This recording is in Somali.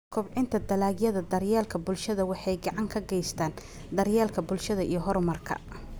Kobcinta Dalagyada Daryeelka Bulshada waxay gacan ka geystaan ??daryeelka bulshada iyo horumarka.